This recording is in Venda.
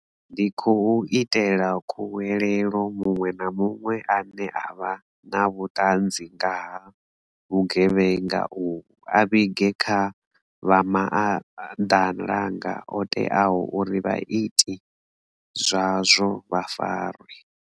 Ndi khou itela khuwelelo muṅwe na muṅwe ane avha na vhuṱanzi nga ha vhugevhenga uvhu a vhige kha vha maanḓalanga oteaho uri vhaiti zwazwo vha farwe.